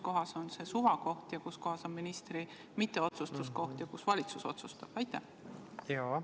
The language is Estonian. Kus on see suvakoht, kus on ministri mitteotsustuskoht ja kus otsustab valitsus?